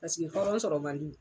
Paseke hɔrɔn sɔrɔ man di.